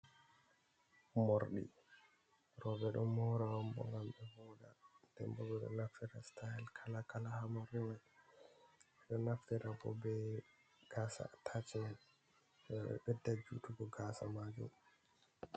Mordi. Robe ɗon moura on bo ngam be voɗa. Ɗembo go do naftira sitail kala-kala ha mordi man. Beɗo naftira bo be gasa ataciemen beɗɗa jutugo gasa majom.